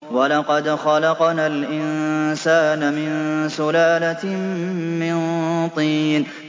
وَلَقَدْ خَلَقْنَا الْإِنسَانَ مِن سُلَالَةٍ مِّن طِينٍ